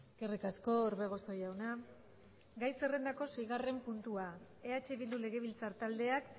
eskerrik asko orbegozo jauna gai zerrendako seigarren puntua eh bildu legebiltzar taldeak